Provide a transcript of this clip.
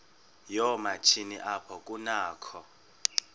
yoomatshini apho kunakho